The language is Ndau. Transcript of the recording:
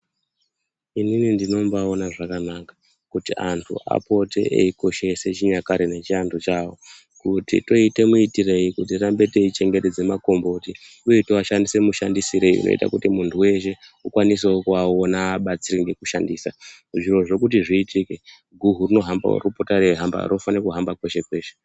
Inini ndinombaaona zvakanaka kuti antu apote eikoshese chinyakare nechiantu chavo, kuti toite muitirei kuti tirambe teichengetedza makomboti uye toashandise mushandisirei kunoita kuti munhu weshe ukwanisewo kuaonawo uabatsire nekushandisa, zvirozvo kuti zviitike guhu rinohambawo, rinopota reihamba rinofana kuhamba kweshe kweshe.